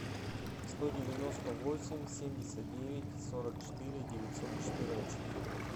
сто девяносто восемь семьдесят девять сорок четыре девятьсот четырнадцать